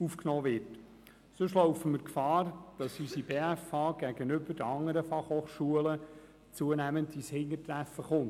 Sonst laufen wir Gefahr, dass unsere BFH gegenüber den anderen FH zunehmend ins Hintertreffen gerät.